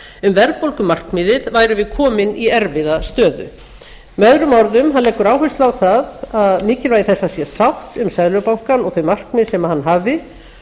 um verðbólgumarkmiðið værum við komin í erfiða stöðu með öðrum orðum hann leggur áherslu á mikilvægi þess að það sé sátt um seðlabankann og þau markmið sem hann hafi